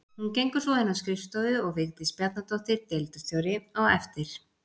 Hún gengur svo inn á skrifstofu og Vigdís Bjarnadóttir deildarstjóri á eftir.